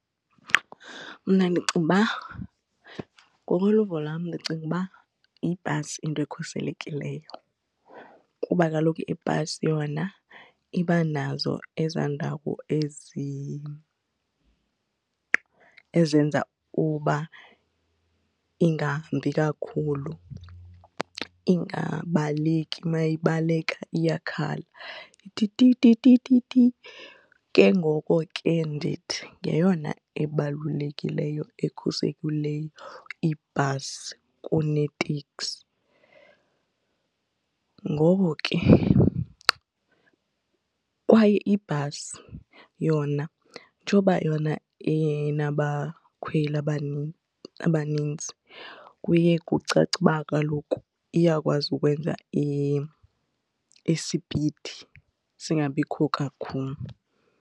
Mna ndicinga uba ngokoluvo lwam ndicinga uba yibhasi into ekhuselekileyo, kuba kaloku ibhasi yona ibanazo ezaa ndawo ezenza uba ingahambi kakhulu, ingabaleki, mayibaleka iyakhala. Ithi tititititi. Ke ngoku ke ndithi ngeyona ebalulekileyo ekhuselekileyo ibhasi kuneteksi. Ngoko ke kwaye ibhasi yona njengoba yona inabakhweli abanintsi kuye kucace uba kaloku iyakwazi ukwenza isipidi singabikho kakhulu.